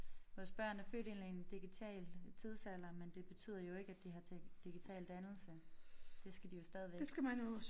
Vores børn er født ind i en digital tidsalder men det betyder jo ikke at de har tech digital dannelse det skal de jo stadigvæk